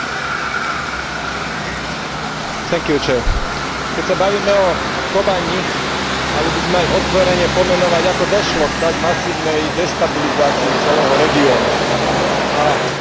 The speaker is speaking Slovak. Keď sa bavíme o Kobani, mali by sme aj otvorene pomenovať, ako došlo k tak masívnej destabilizácii celého regiónu, a takej masívnej, že mohol vzniknúť islamský štát.